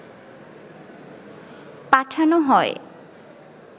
পাঠানো হয়